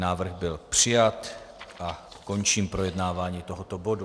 Návrh byl přijat a končím projednávání tohoto bodu.